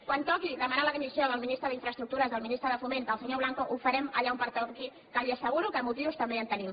quan toqui demanar la dimissió del ministre d’infraestructures del ministre de foment del senyor blanco ho farem allà on pertoqui que li asseguro que de motius també en tenim